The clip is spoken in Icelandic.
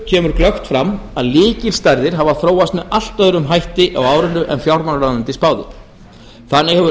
kemur glöggt fram að lykilstærðir hafa þróast með allt öðrum hætti á árinu en fjármálaráðuneytið spáði þannig hefur